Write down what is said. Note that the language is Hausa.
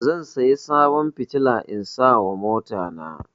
Zan siya sabon fitila in sa ma mota na